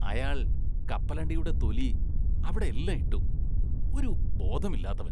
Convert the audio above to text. അയാള്‍ കപ്പലണ്ടിയുടെ തൊലി അവിടെയെല്ലാം ഇട്ടു, ഒരു ബോധമില്ലാത്തവന്‍.